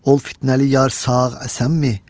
Ol fitnəli yar sağ-əsənmi?"